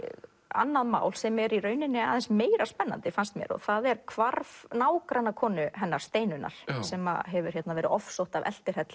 annað mál sem er aðeins meira spennandi fannst mér það er hvarf nágrannakonu hennar Steinunnar sem hefur verið ofsótt af